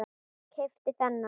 Keypti þennan.